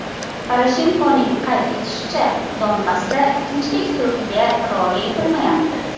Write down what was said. Poroshenkoning qayd etishicha, Donbassda tinchlik sulhiga rioya etilmayapti.